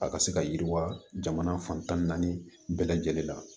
A ka se ka yiriwa jamana fan tan ni naani bɛɛ lajɛlen la